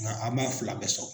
Nka an m'a fila bɛɛ sɔrɔ.